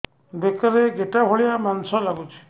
ବେକରେ ଗେଟା ଭଳିଆ ମାଂସ ଲାଗୁଚି